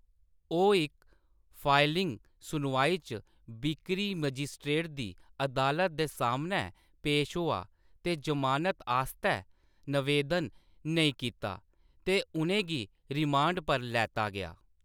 ओह्‌‌ इक फाइलिंग, सुनवाई च बिक्करी मजिस्ट्रेट दी अदालत दे सामनै पेश होआ, ते ज़मानत आस्तै नवेदन नेईं कीता, ते उʼनें गी रिमांड पर लैता गेआ।